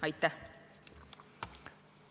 Aitäh!